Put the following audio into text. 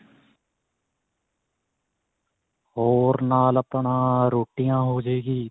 ਹੋਰ ਨਾਲ ਆਪਣਾ ਰੋਟੀਆਂ ਹੋ ਜੇ ਗੀ